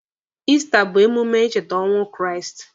Ista bụ emume ịcheta ọnwụ Kraịst.